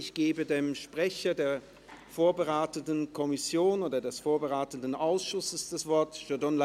Ich gebe dem Sprecher der vorberatenden Kommission respektive des Ausschusses das Wort: Peter Gasser.